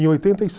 Em oitenta e